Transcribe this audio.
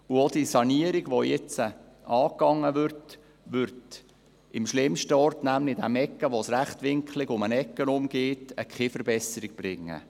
Auch die Sanierung, die jetzt angegangen wird, wird am schlimmsten Ort, nämlich dort, wo es rechtwinklig um die Ecke geht, keine Verbesserung bringen.